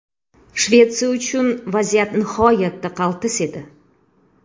Shvetsiya uchun vaziyat nihoyatda qaltis edi.